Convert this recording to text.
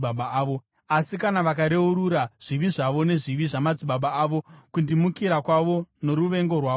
“ ‘Asi kana vakareurura zvivi zvavo nezvivi zvamadzibaba avo, kundimukira kwavo noruvengo rwavo kwandiri,